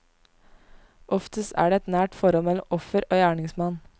Oftest er det et nært forhold mellom offer og gjerningsmann.